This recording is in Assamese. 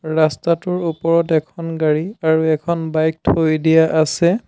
ৰাস্তাটোৰ ওপৰত এখন গাড়ী আৰু এখন বাইক থৈ দিয়া আছে।